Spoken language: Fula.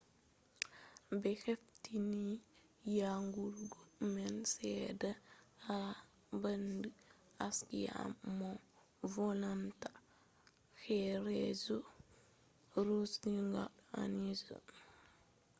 be hefti nyawu man sedda ha bandu arias mo volinta horeejo rodrigo arias vi